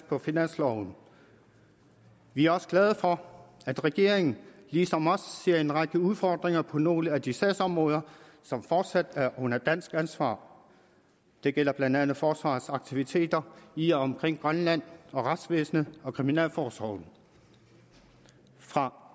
på finansloven vi er også glade for at regeringen ligesom os ser en række udfordringer på nogle af de sagsområder som fortsat er under dansk ansvar det gælder blandt andet forsvarets aktiviteter i og omkring grønland og retsvæsenet og kriminalforsorgen fra